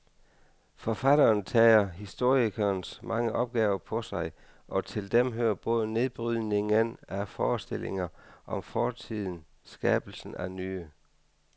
Forfatteren tager historikerens mange opgaver på sig, og til dem hører både nedbrydningen af forestillinger om fortiden skabelsen af nye.